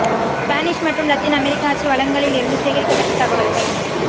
Spanish மற்றும் Latin அமெரிக்க அச்சு வளங்களில் இருந்து சேகரிக்கப்பட்ட தகவல்கள்